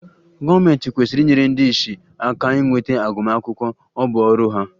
Gọọmentị kwesịrị inyere ndị ìsì aka inweta agụmakwụkwọ, ọ bụ ọrụ ha